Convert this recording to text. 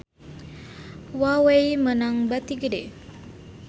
Huawei meunang bati gede